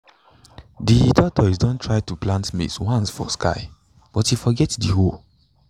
de tortoise don try to plant maize once for sky but e forget de hoe